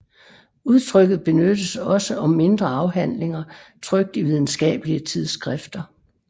Udtrykket benyttes også om mindre afhandlinger trykt i videnskabelige tidsskrifter